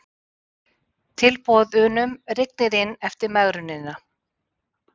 Tilboðunum rignir inn eftir megrunina